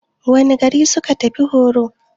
Wane gari suka tafi horo?